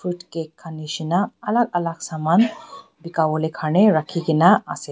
etu cake khane nishina alag alag saman beka bole kharne rakhi kina ase.